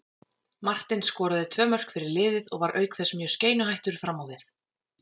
Martin skoraði tvö mörk fyrir liðið og var auk þess mjög skeinuhættur fram á við.